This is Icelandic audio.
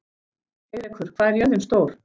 Heiðrekur, hvað er jörðin stór?